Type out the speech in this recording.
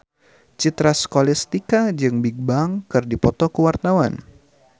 Citra Scholastika jeung Bigbang keur dipoto ku wartawan